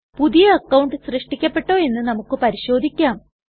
പുതിയ അക്കൌണ്ട് സൃഷ്ടിക്കപ്പെട്ടോ എന്ന് നമുക്ക് പരിശോധിക്കാം